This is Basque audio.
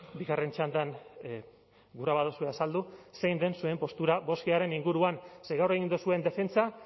bigarren txandan gura baduzue azaldu zein den zuen postura bostgaren inguruan ze gaur egin duzuen defentsa